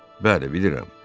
Bəli, bilirəm.